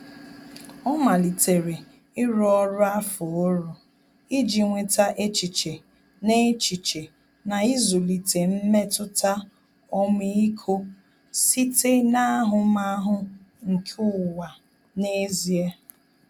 Ọ́ malitere ịrụ ọrụ afọọrụ iji nweta echiche na echiche na ịzụlite mmetụta ọmịiko site n’ahụmahụ nke ụwa n’ezie.